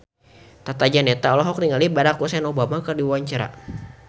Tata Janeta olohok ningali Barack Hussein Obama keur diwawancara